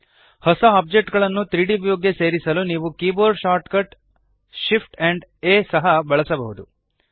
ಹೊಸ ಓಬ್ಜೆಕ್ಟ್ ಗಳನ್ನು 3ದ್ ವ್ಯೂಗೆ ಸೇರಿಸಲು ನೀವು keyboard shortcut shift amp A ಸಹ ಬಳಸಬಹುದು